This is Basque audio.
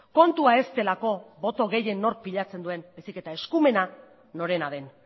kontua ez delako boto gehien nork pilatzen duen baizik eta eskumena norena den